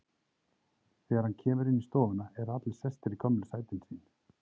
Þegar hann kemur inn í stofuna eru allir sestir í gömlu sætin sín.